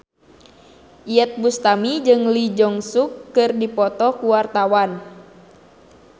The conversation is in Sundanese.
Iyeth Bustami jeung Lee Jeong Suk keur dipoto ku wartawan